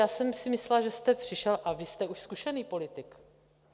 Já jsem si myslela, že jste přišel - a vy jste už zkušený politik...